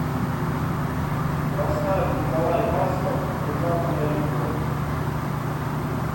поставь николай басков внезапная любовь